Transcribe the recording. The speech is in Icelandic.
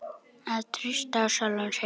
Að treysta á sjálfan sig.